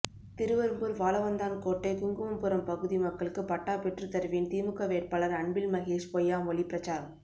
திருவெறும்பூர் வாழவந்தான் கோட்டை குங்குமபுரம் பகுதி மக்களுக்கு பட்டா பெற்று தருவேன் திமுக வேட்பாளர் அன்பில் மகேஷ் பொய்யாமொழி பிரசாரம்